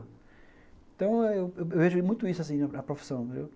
Então, eh eu vejo muito isso assim na profissão